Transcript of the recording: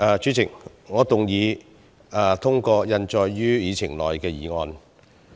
主席，我動議通過印載於議程內的議案。